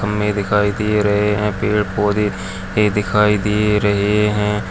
हम मे दिखाई दे रहे हैं पेड़ पौधे दिखाई दे रहे है।